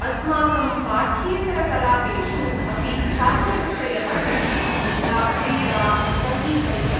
अस्माकं पाठ्येतरकलापेषु अपि छात्रवृत्तयः सन्ति, यथा क्रीडा, सङ्गीतम् च।